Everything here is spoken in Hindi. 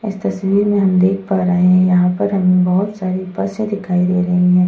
इस तस्वीर में हम देख पा रहे हैं यहां पर हमें बहुत सारी बसें दिखाई दे रही है।